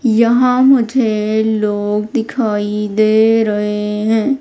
यहां मुझे लोग दिखाई दे रहे हैं।